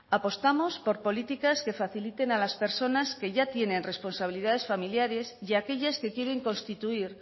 apostamos por políticas que faciliten a las personas que ya tienen responsabilidades familiares y a aquellas que quieren constituir